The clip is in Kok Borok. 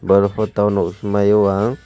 aro po tawno hingmao ang.